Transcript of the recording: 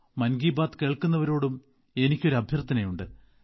മൻ കി ബാത് കേൾക്കുന്നവരോടും എനിക്കൊരു അഭ്യർത്ഥനയുണ്ട്